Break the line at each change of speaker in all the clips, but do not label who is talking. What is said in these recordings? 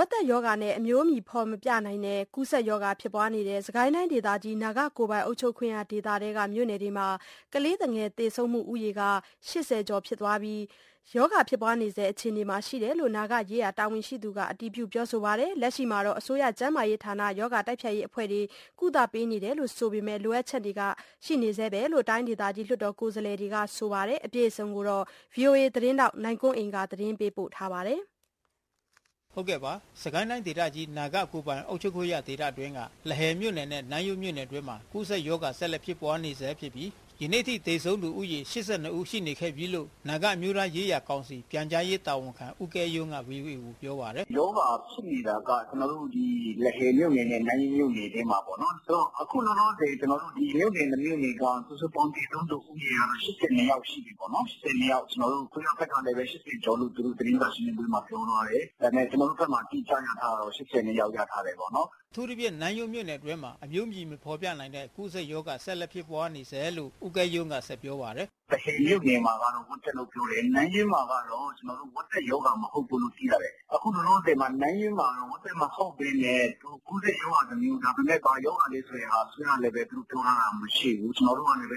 က်သက်ရောဂါနဲ့အမျိုးအမည်မဖေါ်ပြနိုင်တဲ့ကူးစက်ရောဂါဖြစ်ပွါးနေတဲ့ စစ်ကိုင်းတိုင်းဒေသကြီး နာဂကိုယ်ပိုင်အုပ်ချုပ် ခွင့်ရဒေသအတွင်းက မြို့နယ်ဒေသတွေမှာကလေးသူငယ်သေဆုံးမှုဦးရေ(၈၀)ကျော်ဖြစ်ပွါးခဲ့ပြီး ရောဂါဖြစ်ပွါးနေဆဲ အခြေအနေမှာရှိနေတယ်လို့ နာဂရေးရာတာဝန်ရှိသူတွေကအတည်ပြုပြောဆိုခဲ့ပါတယ်။ လက်ရှိမှာအစိုးရကျန်းမာရေး ဌာနရောဂါတိုက်ဖျက်ရေးအဖွဲ့တွေကနေ ကုသပေးနေတယ်ဆိုပေမယ့် လိုအပ်ချက်တွေရှိနေဆဲလို့ တိုင်းဒေသကြီး လွှတ်တော်ကိုယ်စားလှယ်တွေကဆိုပါတယ်။ လက်ရှိနာဂဒေသရောဂါဖြစ်ပွါးနေမှုနဲ့ပတ်သက်ပြီး ထိုင်းအခြေစိုက် VOAသတင်းထောက်နိုင်ကွန်းအိန်ကနေ ဆက် သွယ်မေးမြန်းပြီးအခုလိုသတင်းပေးပို့ထားပါတယ်။
စစ်ကိုင်းတိုင်းဒေသကြီး နာဂကိုယ်ပိုင်အုပ်ချုပ်ခွင့်ရဒေသအတွင်းက လဟယ်မြို့နယ်နဲ့နန်းယွမ်းမြို့နယ်အတွင်းမှာ ကူစက်ရောဂါဆက်လက်ဖြစ်ပွါးနေဆဲဖြစ်ပြီး ယနေ့အထိသေဆုံးသူဦးရေ(၈၂)ရှိနေခဲ့ပြီးလို့ နာဂအမျိုးသားရေးရာ ကောင်စီ ပြန်ကြားရေးတာဝန်ခံ ဦးကဲယုံးကVOAကိုပြောပါတယ်။ “ရောဂါဖြစ်နေတာက
ကျနော်တို့ဒီ လဟယ်မြို့နယ်နဲ့ နန်းယွမ်းမြို့နယ်ထဲမှာပေါ့နော်
။ ဆိုတော့ အခုလောလောဆယ်
ဒီမြို့နယ် ၂ မြို့နယ်က စုစုပေါင်းသေဆုံးလူဦးရေက ၈၂ ယောက်ရှိပြီပေါ့နော်။ ၈၂ ယောက် အစိုးရဘက်ကလည်း သူတို့ သတင်းစာရှင်းလင်းပွဲမှာ ၈၀ ကျော်လို့ပြောသွားတယ်။ ဒါပေမယ့် ကျနော်တို့ ဘက်မှာ အတိအကျရထားတာကတော့ ၈၂ ယောက် ပေါ့န
ော်။" အထူးသဖြင့်နန်းယွမ်းမြို့နယ်အတွင်းမှာ အမျိုးအမည်မဖေါ်ပြနိုင်တဲ့ ကူးစက်ရောဂါ ဆက်လက်ဖြစ်ပွါးနေဆဲလို့ဦးကဲယုံး က ဆက်ပြောပါတယ်။ “လဟယ်မြို့နယ်မှာကတော့ ဝက်သက်လို့ပြောတယ်။ နန်းယွမ်းမှာကတော့ ဝက်သက်ရောဂါမဟုတ်ဘူးလို့ သိရတယ်။ အခုလောလောဆယ်မှာ နန်းယွမ်း
မှာ ဝက်သက်မဟုတ်ပဲနဲ့ ကူးစက်ရေဂါတမျိုး ဒါပေမယ့် ဘာရောဂါလဲဆိုတဲ့ဟာ အစိုးရက ပြောထားတာမရှိဘူး။ ကျနော်တို့ကလည်း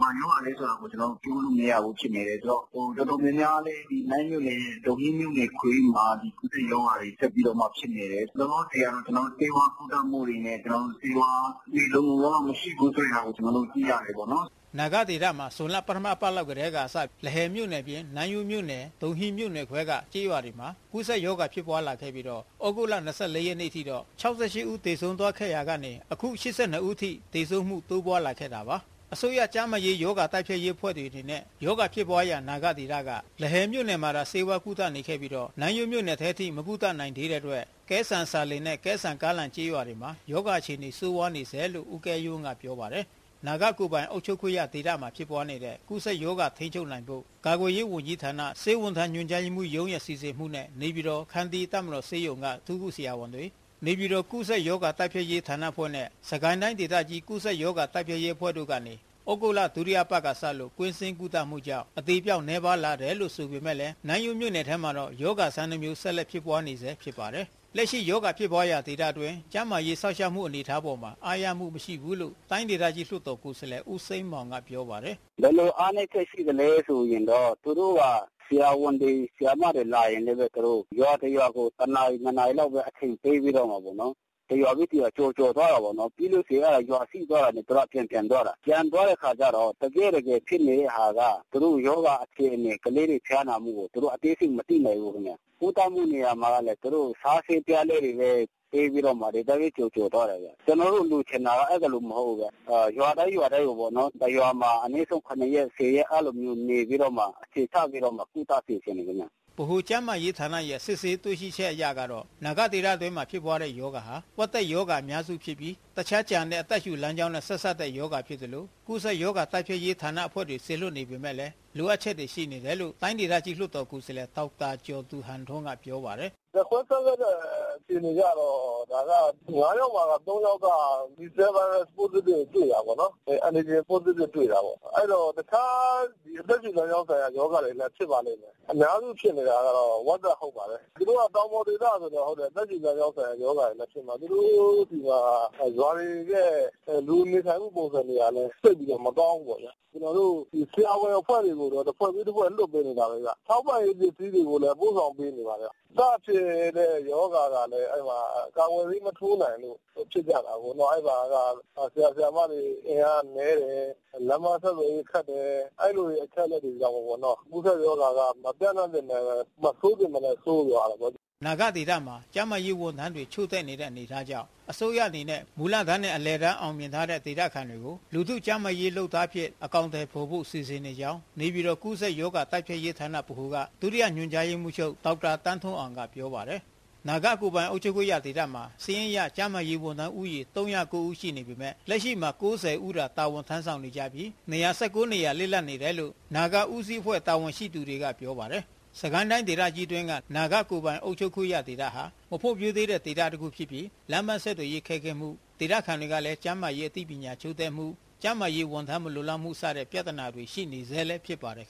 ဘာရောဂါလဲဆိုတဲ့ဟာကို ပြောလို့မရဘူးဖြစ်နေတယ်။ ဆိုတော့ တော်တော်များများလည်း နန်းယွန်းမြို့နယ် ဒုံဟီးမြို့နယ်ခွဲမှာ အဲဒီရောဂါတွေဆက်ပြီးတော့မှ ဖြစ်နေတယ်။ လောလောဆယ်ကတော့ ဆေးဝါးကုသမှုတွေနဲ့ ဆေးဝါးလုံလုံလောက်လောက်မရှိဘူးဆိုတာကို ကျနော်တို့ သိရတယ်ပေါ့နော်။
” နာဂဒေသမှာ ဇွန်လပထမအပတ်လောက်ကတည်းကစပြီး လဟယ်မြို့နယ်အပြင် နန်းယွန်းမြို့နယ် ဒုံဟီးမြို့နယ်ခွဲ က ကျေးရွာတွေမှာ ကူးစက်ရောဂါဖြစ်ပွားလာခဲ့ပြီးသြဂုတ်(၂၄)အထိကလေးငယ် (၆၈) ဦးသေဆုံးသွားခဲ့ရာကနေ အခု (၈၂)ဦးထိ သေဆုံးမှုတိုးပွါးလာခဲ့တာပါ။ အစိုးရကျန်းမာရေးဌာနရောဂါတိုက်ဖျက်ရေးအဖွဲ့တွေအနေနဲ့ ရောဂါဖြစ်ပွါးရာ နာဂဒေသက လဟယ်မြို့နယ်မှာသာ ဆေးဝါးကုသနေခဲ့ပြီးတော့ နန်းယွန်းမြို့နယ်ထဲမကုသနိုင်သေးတဲ့အတွက် ကဲဆန်ဆာလင်နဲ့ ကဲဆန်ကားလန် ကျေးရွာမှာ ရောဂါအခြေအနေဆိုးဝါးနေဆဲလို့ ဦးကဲယုံးကပြောပါတယ်။ နာဂကိုယ်ပိုင်အုပ်ချုပ်ခွင့်ရဒေသမှာဖြစ်ပွါးနေတဲ့ဲ ကူးစက်ရောဂါထိန်းချုပ်နိုင်ဖို့ ကာကွယ်ရေးဝန်ကြီးဌာနဆေးဝန်ထမ်း ညွှန်ကြားရေးမှူးရုံးရဲ့စီစဉ်မှုနဲ့ နေပြည်တော် ခန္တီးတပ်မတော်ဆေးရုံကအထူးကုဆရာဝန်တွေ၊ နေပြည်တော်ကူးစက် ရောဂါတိုက်ဖျက်ရေးဌာနအဖွဲ့နဲ့ စစ်ကိုင်းတိုင်းဒေသကြီးကူးစက်ရောဂါတိုက်ဖျက်ရေးအဖွဲ့တို့ကနေ သြဂုတ်လဒုတိ ယအပါတ်ကစလို့ ကွင်းဆင်းကုသမှုကြောင့် အသေပျောက်နည်းပါးလာခဲ့ပေမဲ့ နန်းယွန်းမြို့နယ်ထဲမှာတော့ ရောဂါ ဆန်းတမျိုးဆက်လက်ဖြစ်ပွါးနေဆဲဖြစ်ပါတယ်။ လက်ရှိရောဂါဖြစ်ပွါးရာဒေသအတွင်းကျန်းမာရေးစောင့်ရှောက်မှုအနေအထားအပေါ် အားရမှုမရှိဘူးလို့ တိုင်းဒေသ ကြီးလွှတ်တော်ကိုယ်စားလှယ် ဦးစိန်းမောင်ကပြောပါတယ်။
“ဘယ်လိုအားနည်းချက်ရှိသလဲဆိုရင်တော့ သူတို့က ဆရာဝန်၊ ဆရာမတွေလာရင်လည်း ရွာတစ်ရွာကို ၁ နာရီ-၂ နာရီ လောက်ပဲ အချိန်ပဲပေးပြီးတော့မှ တရွာပြီးတရွာ ကျော်ကျော်သွားတယ်ပေါ့နော်။ ပြီးလို့ရှိရင် ရွာ အရေအတွက် ပြီးသွားတာနဲ့ ပြန်ပြန်သွားတာ။ ပြန်သွားတဲ့အခါကျတော့ တကယ့်တကယ်ဖြစ်နေတဲ့ဟာက သူတို့ရောဂါအခြေအနေ ၊ ကလေးတွေဖျားနာမှုကို သူတို့ အသေးစိတ် မသိနိုင်ဘူးခင်ဗျ။ ကုသမှုနေရာမှာကလည်း သူတို့က စားဆေးအပြားလေးတွေပေးပြီးတော့မှ ဒီအတိုင်းပဲ ကျော်ကျော်သွားတယ်ခင်ဗျ။ ကျနော်တို့လိုချင်တာက အဲဒီလိုမဟုတ်ဘူး ရွာတိုင်းရွာတိုင်းကိုပေါ့ ၁ ရွာမှာ အနည်းဆုံး ၇ ရက် - ၁၀ ရက် အဲဒီလောက်နေပြီးတော့မှ အခြေချပြီးတော့မှ ကူသစေချင်တယ်ခင်ဗျ။”
ဗဟိုကျန်းမာရေးဌာနရဲ့စစ်ဆေးတွေ့ရှိချက်အရကတော့ နာဂဒေသမှာဖြစ်ပွါးတဲ့ရောဂါဟာ ဝက်သက်ရောဂါအများစု ဖြစ်ပြီး တခြားကျန်တဲ့အသက်ရှုလမ်းကြောင်းနဲ့ဆက်စပ်တဲ့ရောဂါဖြစ်သလို ကူးစက်ရောဂါတိုက်ဖျက်ရေးဌာန အဖွဲ့တွေကိုစေလွှတ်နေပေမဲ့ လိုအပ်ချက်ရှိနေတယ်လို့ တိုင်းဒေသကြီးလွှတ်တော်ကိုယ်စားလှယ် ဒေါက်တာကျော်သူ ဟန်ထွန်းကပြောပါတယ်။ “ဓါတ်ခွဲစမ်းသပ
်တဲ့ အခြေအနေအရကတော့ ဒါက ၅ ယောက်မှာ - ၃ ယောက်က Positive ကိုတွေ့တာပေါ့နော်။ အဲဒီတော့ တခြားအသက်ရှုလမ်းကြောင်းဆိုင်ရာတွေပဲဖြစ်ပါလိမ့်မယ်။ အများစုဖြစ်နေတာကတော့ ဝက်သက် ဟုတ်ပါတယ်။ သူတို့က တောင်ပေါ်ဒေသဆိုတော့ အသက်ရှုလမ်းကြောင်းဆိုင်ရာတွေလည်းဖြစ်မှာ သူတို့ဆီမှာ ရွာတွေရဲ့ လူနေမှုပုံစံတွေဟာ သိပ်ပြီးတော့ မကောင်းဘူးပေါ့ဗျာ။ ကျနော်တို့ ဆရာဝန်အဖွဲ့တွေကိုတော့ တဖွဲ့ပြီး တဖွဲ့လွှတ်ပေးနေတာပဲဗျ။ ထောက်ပံ့ရေးပစ္စည်းတွေကိုလည်း ပို့ဆောင်ပေးနေပါတယ်။ စဖြစ်တဲ့ရောဂါကလည်း ကာကွယ်ဆေးမထိုးနိုင်လို့ ဖြစ်ကြတာကို အဲဒီမှာက ဆရာ၊ ဆရာမ အင်အားက နည်းတယ်၊ လမ်းပန်းဆက်သွယ်ရေးခက်တယ်။ အဲလိုအချက်အလက်တွေကြောင့် ကူးစက်ရောဂါက မပျံ့နှံ့သင့်ပဲနဲ့ ၊ မဆိုးသင့်ပဲနဲ့ ဆိုးသွားတာပေါ့နော်။
" နာဂဒေသမှာ ကျန်းမာရေးဝန်ထမ်းတွေ ချို့တဲ့နေတဲ့အနေအထားကြောင့် အစိုးရအနေနဲ့ မူလတန်းနဲ့ အလယ်တန်း အောင်မြင်ထားတဲ့ ဒေသခံတွေကို “လူထုကျန်းမာရေးလုပ်သား” အဖြစ် အကောင်ထည်ဖော်ဖို့စီစဉ်နေကြောင်း နေပြည်တော်ကူးစက်ရောဂါတိုက်ဖျက်ရေးဌာန(ဗဟို)မှ ဒုညွှန်ချုပ် ဒေါက်တာသန်းထွန်းအောင်ကပြောပါတယ်။ နာဂ ကိုယ်ပိုင်အုပ်ချုပ်ခွင့်ရဒေသမှာ စာရင်းအရကျန်းမာရေးဝန်ထမ်းဦးရေ ၃၀၉ ဦးရှိပေမဲ့ လက်ရှိမှာ (၉၀)ဦးသာ တာဝန်ထမ်းဆောင်နေကြပြီး ၂၁၉ နေရာလစ်လပ်နေတယ်လို့ နာဂဦးစီးအဖွဲ့တာဝန်ရှိသူတွေကနေပြောပါတယ်။ စစ်ကိုင်းတိုင်းဒေသကြီးအတွင်းက နာဂကိုယ်ပိုင်အုပ်ချုပ်ခွင့်ရဒေသဟာ မဖွံ့ဖြိုးသေးတဲ့ဒေသတခုဖြစ်ပြီး လမ်းပမ်း ဆက်သွယ်ရေးခက်ခဲမှု ဒေသခံတွေကလဲ ကျန်းမာရေးအသိပညာချို့တဲ့မှု ကျန်းမာရေးဝန်ထမ်းမလုံလောက်မှု စတဲ့ ပြဿနာတွေရှိနေဆဲဖြစ်ပါတယ်